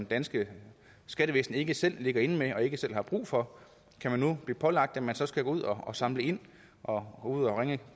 danske skattevæsen ikke selv ligger inde med og ikke selv har brug for kan man nu blive pålagt at man så skal gå ud og samle ind og ringe